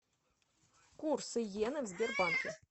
курс иены в сбербанке